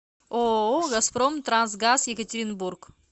ооо газпром трансгаз екатеринбург